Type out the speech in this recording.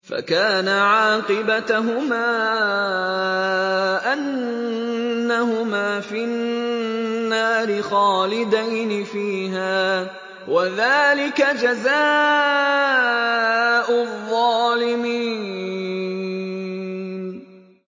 فَكَانَ عَاقِبَتَهُمَا أَنَّهُمَا فِي النَّارِ خَالِدَيْنِ فِيهَا ۚ وَذَٰلِكَ جَزَاءُ الظَّالِمِينَ